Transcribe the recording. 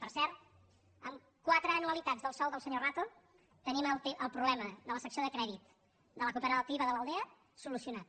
per cert amb quatre anualitats del sou del senyor rato tenim el problema de la secció de crèdit de la cooperativa de l’aldea solucionat